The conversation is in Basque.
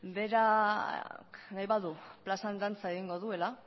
berak nahi badu plazan dantzan egingo duela